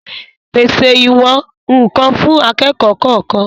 Pèse ìwọ̀n-ǹkan fún akẹ́kọ̀ọ́ kọ̀ọ̀kan